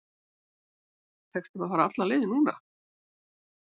Tekst þeim að fara alla leið núna?